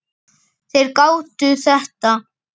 Þeir gátu þetta.